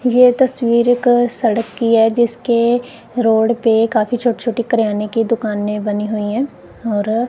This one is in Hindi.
ये तसवीर एक सड़क की है जिसके रोड पे काफी छोटे छोटे किराने को दुकाने बनी हुई है और अ--